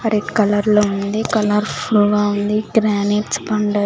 ఆ రెడ్ కలర్లో ఉంది కలర్ ఫుల్ గా ఉంది గ్రానెట్స్ అండ్ --